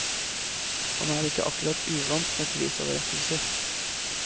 Han er ikke akkurat uvant med prisoverrekkelser.